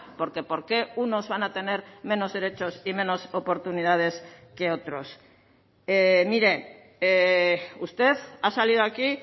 porque por qué unos van a tener menos derechos y menos oportunidades que otros mire usted ha salido aquí